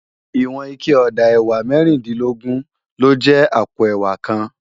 Iwòn iké òdá èwá mèrindilògbòn ló jè àpó èwá kán